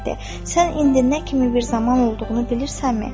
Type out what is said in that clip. Sən indi nə kimi bir zaman olduğunu bilirsənmi?